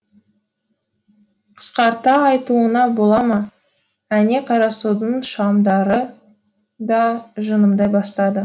қысқарта айтуыңа бола ма әне қарасудың шамдары да жымыңдай бастады